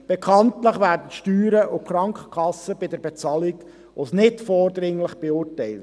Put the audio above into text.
Bekanntlich werden die Steuern und die Krankenkassenkosten bei der Bezahlung als «nicht vordringlich» beurteilt.